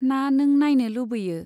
ना नों नाइनो लुबैयो ?